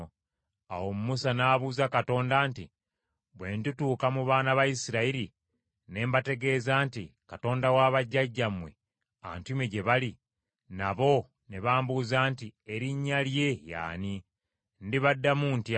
Awo Musa n’abuuza Katonda nti, “Bwe ndituuka mu baana ba Isirayiri ne mbategeeza nti, ‘Katonda wa bajjajjammwe antumye gye muli;’ nabo ne bambuuza nti, ‘Erinnya lye ye ani?’ Ndibaddamu ntya?”